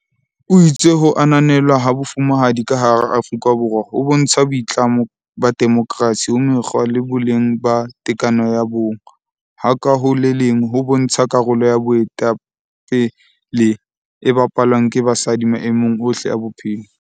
O itse ho ananelwa ha Bo fumahadi ka hara Aforika Borwa ho bontsha boitlamo ba demokersi ho mekgwa le boleng ba tekatekano ya bong, ha ka ho le leng ho bontsha karolo ya boetape le e bapalwang ke basadi maemong ohle a bophelo.